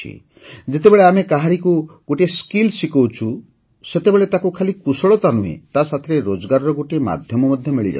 ଯେତେବେଳେ ଆମେ କାହାରିକୁ ଗୋଟିଏ କୌଶଳ ଶିଖାଉଛୁ ସେତେବେଳେ ତାକୁ ଖାଲି କୁଶଳତା ନୁହେଁ ତା ସାଥିରେ ରୋଜଗାରର ଗୋଟିଏ ମାଧ୍ୟମ ମଧ୍ୟ ମିଳିଯାଉଛି